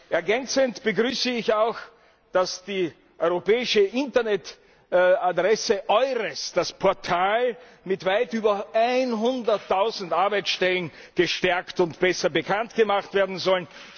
Ergänzend begrüße ich auch, dass die europäische Internetadresse EURES, das Portal mit weit über 100000 Arbeitsstellen, gestärkt und besser bekanntgemacht werden soll.